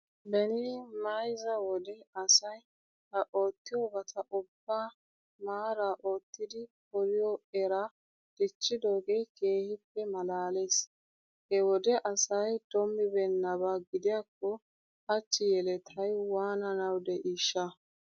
Beni mayzza wode asay ha oottiyobata ubbaa maaraa oyttidi poliyo eraa dichchidoogee keehippe maalaalees. He wode asay doomibeennaba gidiyakko hachchi yeletay waananawu de'iishsha!